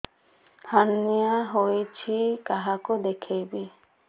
hernia ହୋଇଛି କାହାକୁ ଦେଖେଇବି